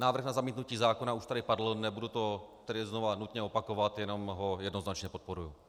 Návrh na zamítnutí zákona už tady padl, nebudu to tady znova nutně opakovat, jenom ho jednoznačně podporuji.